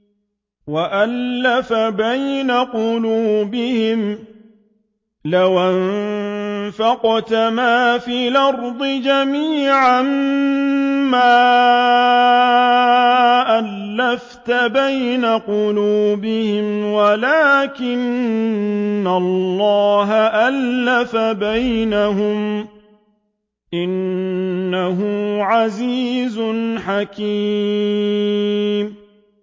وَأَلَّفَ بَيْنَ قُلُوبِهِمْ ۚ لَوْ أَنفَقْتَ مَا فِي الْأَرْضِ جَمِيعًا مَّا أَلَّفْتَ بَيْنَ قُلُوبِهِمْ وَلَٰكِنَّ اللَّهَ أَلَّفَ بَيْنَهُمْ ۚ إِنَّهُ عَزِيزٌ حَكِيمٌ